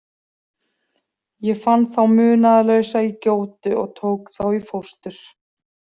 Ég fann þá munaðarlausa í gjótu og tók þá í fóstur.